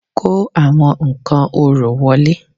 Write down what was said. Kó àwọn nǹkan orò wọlé